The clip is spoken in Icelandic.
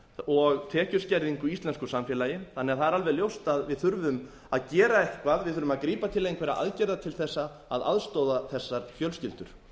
og tekjuskerðingu í íslensku samfélagi þannig að það er alveg ljóst að við þurfum að gera eitthvað við þurfum að grípa til einhverra aðgerða til þess að aðstoða þessar fjölskyldur